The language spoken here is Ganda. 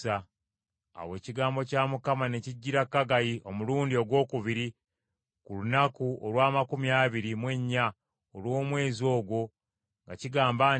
Awo ekigambo kya Mukama ne kijjira Kaggayi omulundi ogwokubiri ku lunaku olw’amakumi abiri mu ennya olw’omwezi ogwo nga kigamba nti,